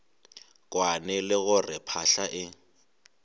kwane le gore phahla e